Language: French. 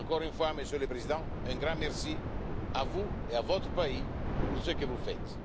Encore une fois, Monsieur le Président, un grand merci à vous et à votre pays pour ce que vous faites.